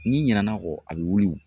N'i ɲinɛna'a kɔ a bɛ wili.